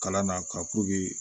Kalan na ka